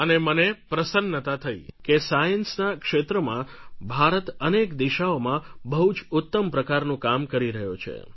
અને મને પ્રસન્નતા થઈ કે સાયન્સના ક્ષેત્રમાં ભારત અનેક દિશાઓમાં બહુ જ ઉત્તમ પ્રકારનું કામ કરી રહ્યો છે